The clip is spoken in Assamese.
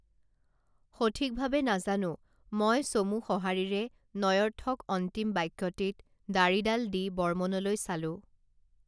সঠিকভাৱে নাজানো মই চমু সঁহাৰিৰে নঞৰ্থক অন্তিম বাক্যটিত দাড়িডাল দি বৰ্মনলৈ চালোঁ